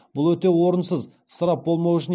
бұл өте орынсыз ысырап болмау үшін